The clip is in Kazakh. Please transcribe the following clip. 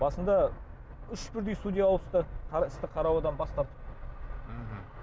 басында үш бірдей судья ауысты істі қараудан бас тартып мхм